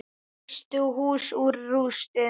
Reisti hús úr rústum.